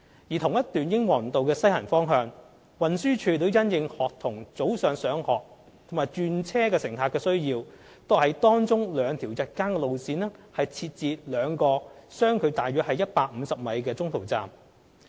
在同一段英皇道的西行方向，運輸署亦因應學童早上上學和轉車乘客的需要，為當中兩條日間路線設置兩個相距約為150米的中途站。